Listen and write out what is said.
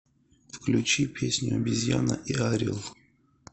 включи песню обезьяна и орел